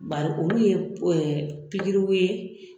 Bari olu ye pikiriw ye